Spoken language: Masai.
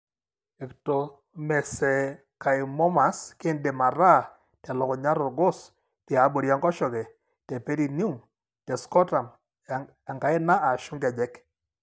Ectomesenchymomas kindim ataa telukunya, tolgos. tiabori enkoshoke, teperineum te scrotum enkaina ashu inkejek.